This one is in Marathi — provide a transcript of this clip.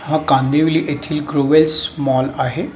हा कांदिवली येथील कृवेस मॉल आहे.